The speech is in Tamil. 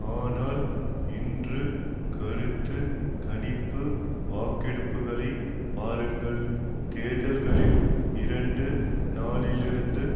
ஆனால் இன்று கருத்து கணிப்பு வாக்கெடுப்புக்களைப் பாருங்கள் தேர்தல்களில் இரண்டு நாள்களிலிருந்து